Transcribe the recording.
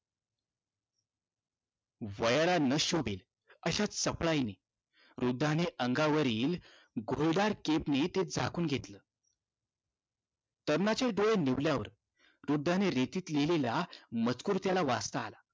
वयाला न शोभेल अशा चपळाईने वृद्धाने अंगावरील ग्रोदार केपने ते झाकून घेतलं. तरुणाचे डोळे निवल्यावर वृद्धाने रेतीवर लिहिलेला मजकूर त्याला वाचता आला.